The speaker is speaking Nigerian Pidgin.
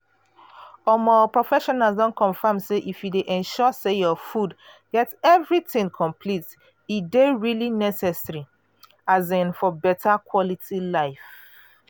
um professionals don confirm say if you dey ensure say your food get everything complete e dey really necessary um for beta quality life.